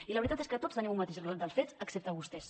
i la veritat és que tots tenim un mateix relat dels fets excepte vostès